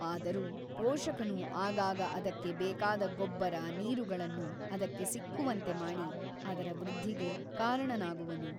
ಆದರೂ ಪೋಷಕನು ಆಗಾಗ ಅದಕ್ಕೆ ಬೇಕಾದ ಗೊಬ್ಬರ ನೀರುಗಳನ್ನು ಅದಕ್ಕೆ ಸಿಕ್ಕುವಂತೆ ಮಾಡಿ ಅದರ ವೃದ್ಧಿಗೆ ಕಾರಣನಾಗುವನು.